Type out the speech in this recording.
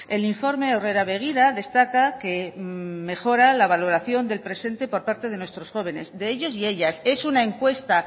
el informe aurrera begira destaca que mejora la valoración del presente por parte de nuestros jóvenes de ellos y ellas es una encuesta